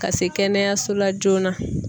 Ka se kɛnɛyaso la joona.